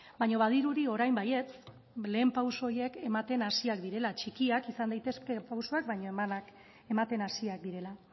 baino badirudi orain baietz lehen pauso horiek ematen hasiak direla txikiak izan daitezke pausoak baina ematen hasiak direla